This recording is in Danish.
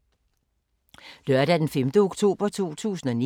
Lørdag d. 5. oktober 2019